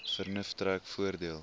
vernuf trek voordeel